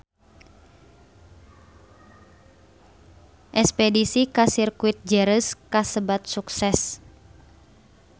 Espedisi ka Sirkuit Jerez kasebat sukses